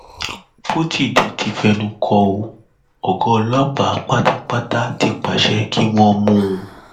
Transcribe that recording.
pọtidé ti fẹnu kò ó ọgá ọlọpàá pátápátá ti pàṣẹ kí wọn mú un